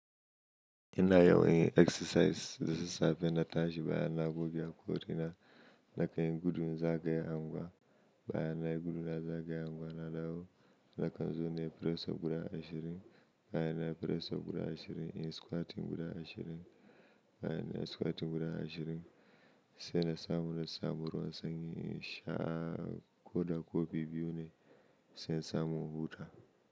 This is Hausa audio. Ina yawon exercise da safe na tashi bayan na goge hakori na nakan gudu na zagaya anguwa bayan nayi gudu na zagaya anguwa na dawo nakan zo nayi press up guda ashirin bayan nayi press up guda ashirin in squat guda ashirin bayan na squat guda ashirin sai na samu na samu ruwan sanyi in sha koda kuwa bibbiyu ne sai na samu na huta.